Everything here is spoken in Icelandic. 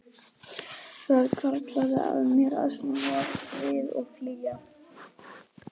Það hvarflaði að mér að snúa við og flýja.